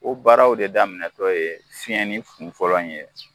O baaraw de daminɛtɔ ye fiɲɛni kun fɔlɔ in ye